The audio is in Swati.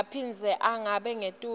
aphindze angabi ngetulu